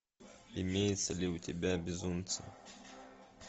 имеется ли у тебя безумцы